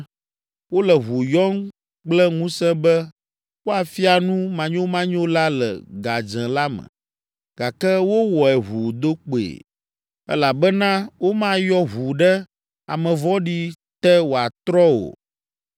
Wole ʋu yɔm kple ŋusẽ be woafia nu manyomanyo la le gadzẽ la me, gake wowɔe ʋuu do kpoe. Elabena womayɔ ʋu ɖe ame vɔ̃ɖi te wòatrɔ o.